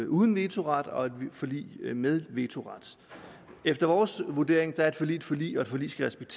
uden vetoret og et forlig med vetoret efter vores vurdering er et forlig et forlig og et forlig skal